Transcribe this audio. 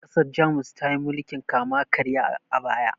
ƘasarJamus tayi mulkin kama karya a baya